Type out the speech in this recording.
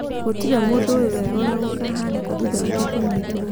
Gũtirĩ mũndũ ũĩ wega ũrĩa gũkahaanĩka thutha wake kũnyitwo.